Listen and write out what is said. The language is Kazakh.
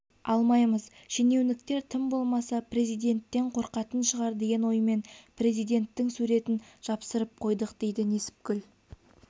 алмаймыз шенеуніктер тым болмаса президенттен қорқатын шығар деген оймен президенттің суретін жапсырып қойдық дейді несіпкүл